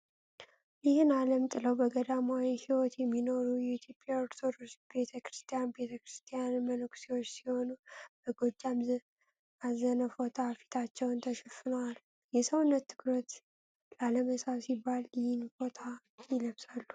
ይህን አለም ጥለው በገዳማዊ ሂወት የሚኖሩ የኢትዮጵያ ኦርቶዶክስ ቤተ ክርስቲያን ቤተክርስቲያን መነኩሴዎች ሲሆኑ በጎጃም አዘነ ፎጣ ፊታቸውን ተሸፋፍነዋል ። የሰውን ትኩረት ላለመሳብ ሲባል ይህን ፎጣ ይለብሳሉ።